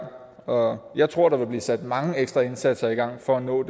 og jeg tror der vil blive sat mange ekstra indsatser i gang for at nå